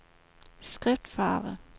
skriftfarve